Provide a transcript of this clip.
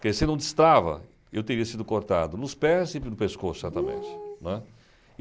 Porque se não destrava, eu teria sido cortado nos pés e no pescoço, certamente. Né?